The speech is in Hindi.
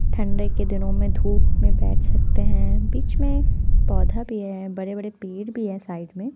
ठंडे के दिनों में धूप में बैठ सकते हैं बीच में पौधा भी है बड़े बड़े पेड़ भी हैं साइड में --